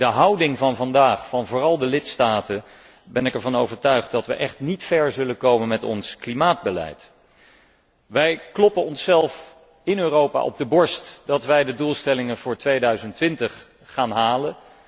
Met de huidige houding van vooral de lidstaten ben ik ervan overtuigd dat we echt niet ver zullen komen met ons klimaatbeleid. Wij kloppen onszelf in Europa op de borst dat wij de doelstellingen voor 2020 gaan halen.